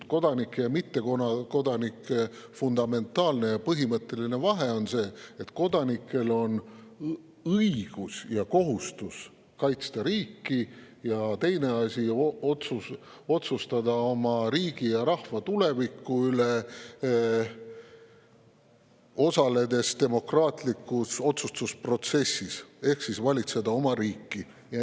Kodanike ja mittekodanike fundamentaalne ja põhimõtteline vahe on see, et kodanikel on õigus ja kohustus kaitsta riiki, ja teiseks, otsustada oma riigi ja rahva tuleviku üle, osaledes demokraatlikus otsustusprotsessis, ehk valitseda oma riiki.